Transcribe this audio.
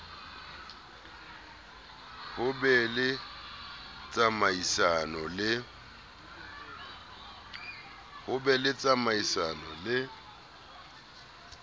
ho be le tsamaisano le